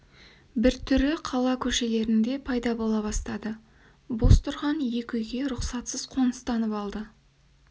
бір түрі қала көшелерінде пайда бола бастады бос тұрған екі үйге рұқсатсыз қоныстанып алды